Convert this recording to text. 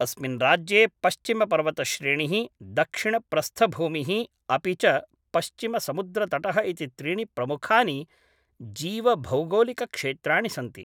अस्मिन् राज्ये पश्चिमपर्वतश्रेणिः, दक्षिणप्रस्थभूमिः अपि च पश्विमसमुद्रतटः इति त्रीणि प्रमुखानि जीवभौगोलिकक्षेत्राणि सन्ति।